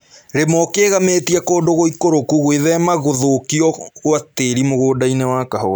Rĩma ũkĩgamĩte kũndũ gũikũrũku gwĩthema gũthukio gwa tĩri mũgũndainĩ wa kahũa